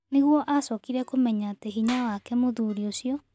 Nĩgũo acokire kũmenya atĩ hĩnya wake mũthuri ũcio.